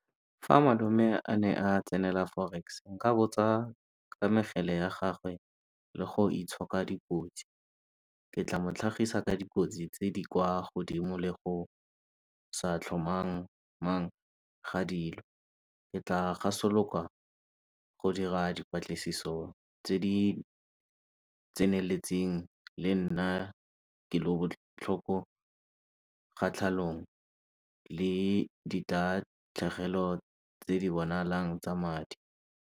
Fa malome a ne a tsenela Forex nka botsa ka mekgele ya gagwe le go itshoka dikotsi. Ke tla motlhagisa ka dikotsi tse di kwa godimo le go sa tlhomamang ga dilo, ke tla gasolokwa ko dira diplatlisiso tse di tseneletseng le nna ke lo botlhoko kgatlhanong le di tatlhegelo tse di bonalang tsa madi.